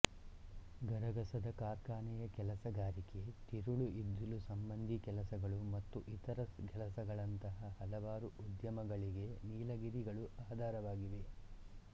ಗರಗಸದ ಕಾರ್ಖಾನೆಯ ಕೆಲಸಗಾರಿಕೆ ತಿರುಳು ಇದ್ದಿಲು ಸಂಬಂಧಿ ಕೆಲಸಗಳು ಮತ್ತು ಇತರ ಕೆಲಸಗಳಂಥ ಹಲವಾರು ಉದ್ಯಮಗಳಿಗೆ ನೀಲಗಿರಿ ಗಳು ಆಧಾರವಾಗಿವೆ